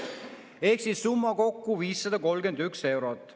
" Ehk siis summa kokku 531 eurot.